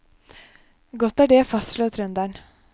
Godt er det, fastslår trønderen.